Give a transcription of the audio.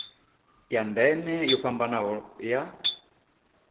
ya ndeme yo fhambanaho ya